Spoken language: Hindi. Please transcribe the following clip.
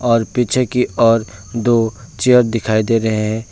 और पीछे की ओर दो चेयर दिखाई दे रहे हैं।